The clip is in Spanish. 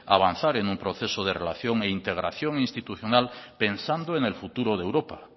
avanzar en un proceso de relación e integración institucional pensando en el futuro de europa